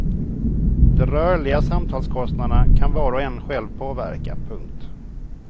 De rörliga samtalskostnaderna kan var och en själv påverka. punkt